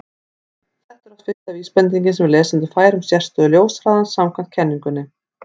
þetta er oft fyrsta vísbendingin sem lesandi fær um sérstöðu ljóshraðans samkvæmt kenningunni